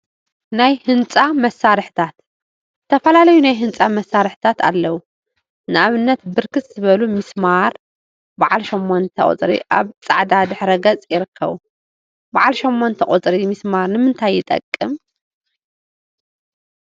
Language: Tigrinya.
ናይ ህንፃ መሳርሒታት ዝተፈላለዩ ናይ ህንፃ መሳርሒታት አለው፡፡ ንአብነት ብርክት ዝበሉ ሚስማር በዓል ሸሞንተ ቁፅሪ አብ ፃዕዳ ድሕረ ገፅ ይርከቡ፡፡ በዓል ሸሞንተ ቁፅሪ ሚሰማር ንምንታይ ይጠቅም?